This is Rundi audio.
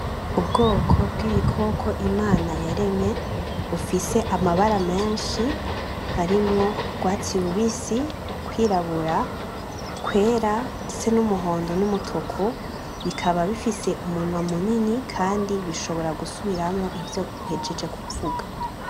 Ubwoko bw'ibikoko Imana yaremye bifise amabara menshi harimwo urwatsi rubisi, kwirabura, kwera ndetse n'umuhondo n'umutuku , bikaba bifise umunwa munini kandi bishobora gusubiramwo ivyo uhejej kuvuga.